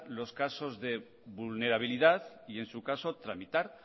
los casos de vulnerabilidad y en su caso tramitar